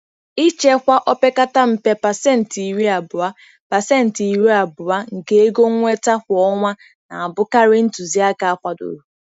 Ịchekwa opekata mpe pacenti iri abuo pacenti iri abuo nke ego nnweta kwa ọnwa na-abụkarị ntụzịaka akwadoro.